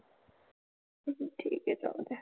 हम्म हम्म ठीक आहे चालतंय.